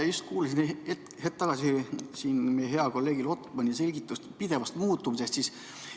Ma just kuulasin hetk tagasi hea kolleegi Lotmani selgitust pideva muutumise kohta.